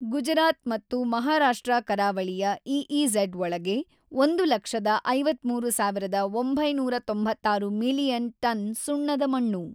ಗುಜರಾತ್ ಮತ್ತು ಮಹಾರಾಷ್ಟ್ರ ಕರಾವಳಿಯ ಇಇಜಡ್ ಒಳಗೆ 1, 53, 996 ಮಿಲಿಯನ್ ಟನ್ ಸುಣ್ಣದ ಮಣ್ಣು.